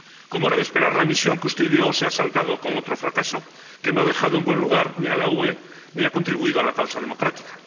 Como era de esperar, la misión que usted ideó se ha saldado con otro fracaso, que no ha dejado en buen lugar a la UE ni ha contribuido a la causa democrática.